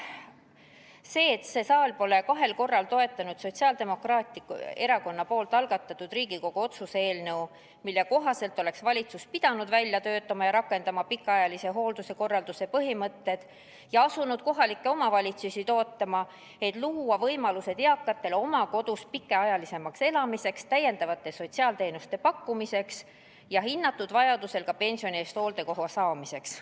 See saal pole kahel korral toetanud Sotsiaaldemokraatliku Erakonna algatatud Riigikogu otsuse eelnõu, mille kohaselt oleks valitsus pidanud välja töötama ja rakendama pikaajalise hoolduse korralduse põhimõtted ja asuma kohalikke omavalitsusi toetama, et nad saaksid pakkuda eakatele täiendavaid teenuseid pikaajalisemaks oma kodus elamiseks jahinnatud vajaduse korral ka pensioni eest hooldekoha saamiseks.